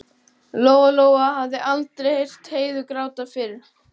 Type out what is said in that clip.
Lóa-Lóa hafði aldrei heyrt Heiðu gráta fyrr.